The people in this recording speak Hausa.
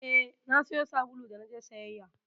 Eh, na sayo sabulu da naje sayayya